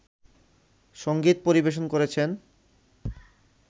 সঙ্গীত পরিবেশন করেছেন